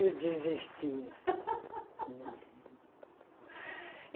Eu desisti.